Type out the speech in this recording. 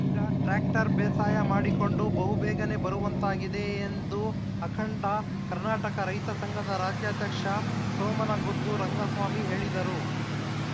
ಈಗ ಟ್ರ್ಯಾಕ್ಟರ್‌ ಬೇಸಾಯ ಮಾಡಿಕೊಂಡು ಬಹುಬೇಗನೇ ಬರುವಂತಾಗಿದೆ ಎಂದು ಅಖಂಡ ಕರ್ನಾಟಕ ರೈತ ಸಂಘದ ರಾಜ್ಯಾಧ್ಯಕ್ಷ ಸೋಮನಗುದ್ದು ರಂಗಸ್ವಾಮಿ ಹೇಳಿದರು